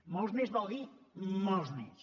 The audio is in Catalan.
molts més vol dir molts més